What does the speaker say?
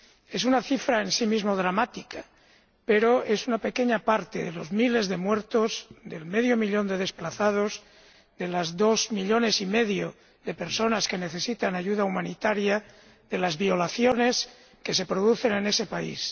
Es una cifra en sí misma dramática, pero es una pequeña parte de los miles de muertos, del medio millón de desplazados, de los dos millones y medio de personas que necesitan ayuda humanitaria y de las violaciones que se producen en ese país.